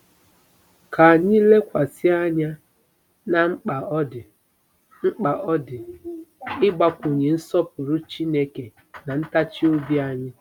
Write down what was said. Ka anyị lekwasị anya ná mkpa ọ dị mkpa ọ dị ịgbakwunye nsọpụrụ Chineke ná ntachi obi anyị.